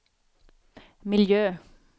miljö